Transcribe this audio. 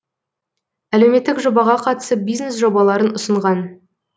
әлеуметтік жобаға қатысып бизнес жобаларын ұсынған